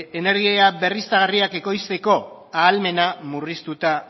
energia berriztagarriak ekoizteko ahalmena murriztuta